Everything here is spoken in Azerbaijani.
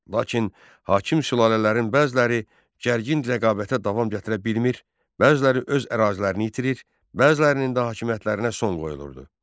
Lakin hakim sülalələrin bəziləri gərgin rəqabətə davam gətirə bilmir, bəziləri öz ərazilərini itirir, bəzilərinin də hakimiyyətlərinə son qoyulurdu.